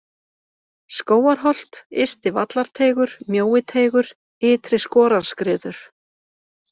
Skógarholt, Ysti-Vallarteigur, Mjóiteigur, Ytri-Skorarskriður